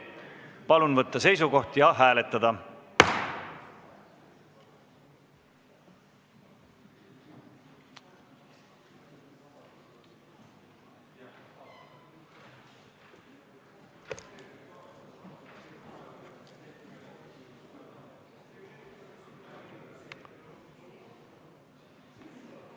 Palun võtta seisukoht ja hääletada!